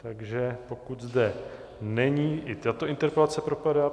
Takže pokud zde není, i tato interpelace propadá.